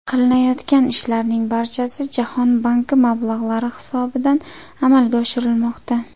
Qilinayotgan ishlarning barchasi Jahon banki mablag‘lari hisobidan amalga oshirilmoqda.